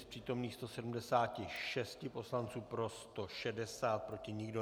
Z přítomných 176 poslanců pro 160, proti nikdo.